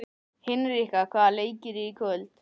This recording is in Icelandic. Hinrikka, hvaða leikir eru í kvöld?